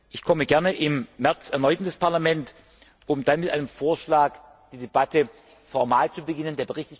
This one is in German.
heute. Ich komme gern im März erneut ins Parlament, um dann mit einem Vorschlag die Debatte formal zu beginnen.